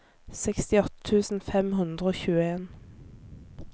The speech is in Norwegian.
sekstiåtte tusen fem hundre og tjueen